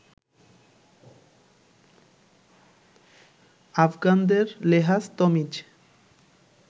আফগানদের লেহাজ তমিজ